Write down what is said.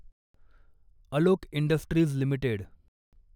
Alok industries limited